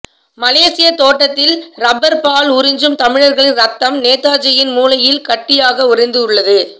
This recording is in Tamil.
மலேசிய தோட்டத்தில் இரப்பர் பால் உறிஞ்சும் தமிழர்களின் இரத்தம் நேதாஜியின் மூளையில் கட்டியாக உரைந்து உள்ளது